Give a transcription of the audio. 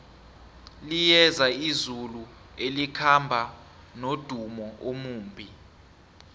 liyeza izulu elikhamba nomdumo omumbi